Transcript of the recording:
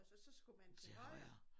Og så skulle man til højre